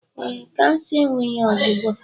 Ee, kansa enweghị ọgwụgwọ